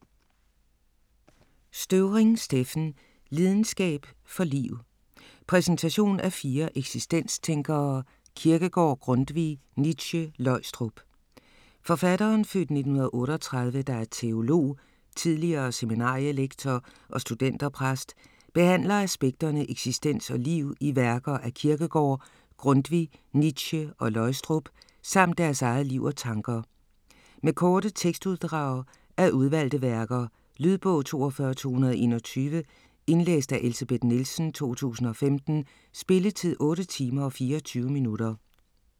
Støvring, Steffen: Lidenskab for liv: præsentation af fire eksistenstænkere - Kierkegaard, Grundtvig, Nietzsche, Løgstrup Forfatteren (f. 1938) der er teolog, tidligere seminarielektor og studenterpræst, behandler aspekterne eksistens og liv i værker af Kierkegaard, Grundtvig, Nietzsche og Løgstrup, samt deres eget liv og tanker. Med korte tekstuddrag af udvalgte værker. Lydbog 42221 Indlæst af Elsebeth Nielsen, 2015. Spilletid: 8 timer, 24 minutter.